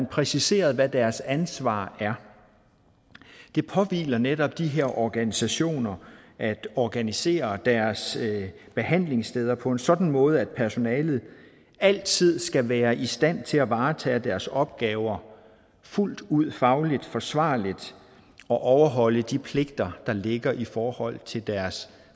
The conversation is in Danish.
præciseret hvad deres ansvar er det påhviler netop de her organisationer at organisere deres behandlingssteder på en sådan måde at personalet altid skal være i stand til at varetage deres opgaver fuldt ud fagligt forsvarligt og overholde de pligter der ligger i forhold til deres